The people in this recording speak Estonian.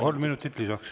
Kolm minutit lisaks.